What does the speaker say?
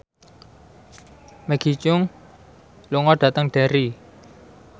Maggie Cheung lunga dhateng Derry